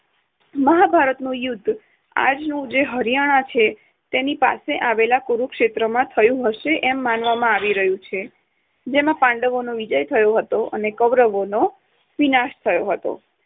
મહાભારતનું યુદ્ધ આજનું જે હરિયાણા છે તેની પાસે આવેલા કુરુક્ષેત્ર માં થયું હશે એમ માનવામાં આવી રહ્યું છે જેમાં પાંડવોનો વિજય થયો હતો અને કૌરવો નો વિનાશ થયો હતો.